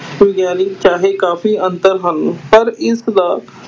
ਵਿਗਿਆਨਕ ਚਾਹੇ ਕਾਫ਼ੀ ਅੰਤਰ ਹਨ ਪਰ ਇਸਦਾ,